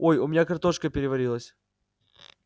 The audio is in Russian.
ой у меня картошка переварилась